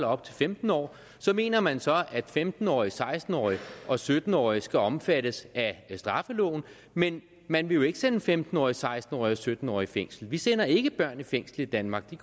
op til femten år så mener man at femten årige og seksten årige og sytten årige skal omfattes af straffeloven men man vil jo ikke sende femten årige seksten årige og sytten årige i fængsel vi sender ikke børn i fængsel i danmark det